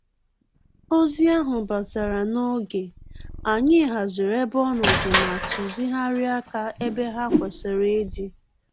Ozi ahụ batara n'oge, anyị haziri ebe ọnọdụ ma tuzigharịa aka ebe ha kwesịrị ịdị